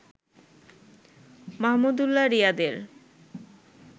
মাহমুদুল্লাহ রিয়াদের